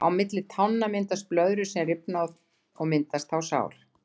Á milli tánna myndast blöðrur sem rifna og myndast þá sár.